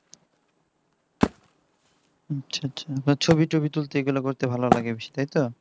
ছবি টবি তুলতে এগুলা করতে ভালো লাগে বেশ তাইতো